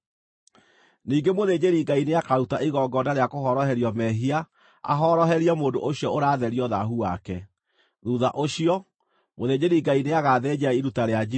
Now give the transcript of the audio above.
“Ningĩ mũthĩnjĩri-Ngai nĩakaruta igongona rĩa kũhoroherio mehia ahoroherie mũndũ ũcio ũratherio thaahu wake. Thuutha ũcio, mũthĩnjĩri-Ngai nĩagathĩnja iruta rĩa njino